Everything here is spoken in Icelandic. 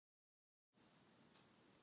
Bara af því að það er sól.